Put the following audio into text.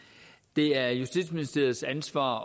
det er justitsministeriets ansvar